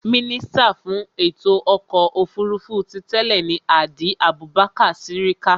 Mínísítà fún ètò ọkọ̀ òfurufú ti tẹ́ẹ̀ ni Hadi Abubakar Sirika